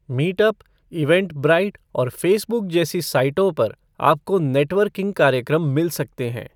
Meetup, Eventbrite और Facebook जैसी साइटों पर आपको नेटवर्किंग कार्यक्रम मिल सकते हैं।